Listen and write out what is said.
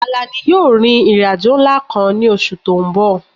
Àlàní yóò rin ìrìn àjò ńlá kan ní oṣù tó ń bọ̀